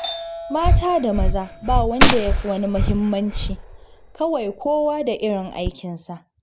Mata da maza ba wanda ya fi wani muhimmanci, kawai kowa da irin aikinsa